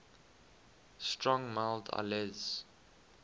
strong mild ales